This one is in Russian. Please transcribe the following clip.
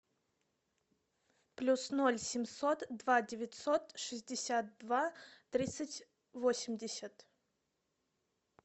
плюс ноль семьсот два девятьсот шестьдесят два тридцать восемьдесят